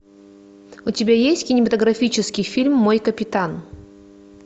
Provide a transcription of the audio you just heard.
у тебя есть кинематографический фильм мой капитан